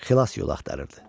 Xilas yolu axtarırdı.